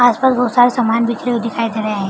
आस-पास बहोत सारे सामान बिखरे हुए दिखाई दे रहे हैं।